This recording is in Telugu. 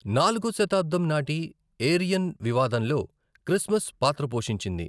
నాలుగో శతాబ్దం నాటి ఏరియన్ వివాదంలో క్రిస్మస్ పాత్ర పోషించింది.